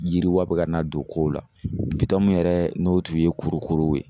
Yiriwa be ka na don kow la .Bitɔn yɛrɛ n'o kun ye kurukuruw ye